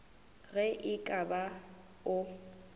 ge e ka ba o